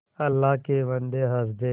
अल्लाह के बन्दे हंस दे